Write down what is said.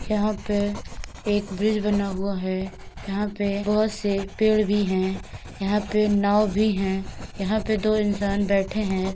यहाँ पे (पर) एक ब्रीज बना हुआ है यहाँ पे (पर) बहुत-से पेड़ भी हैं। यहाँ पे (पर) नाव भी है। यहाँ पे (पर) दो इंसान बैठे हैं ।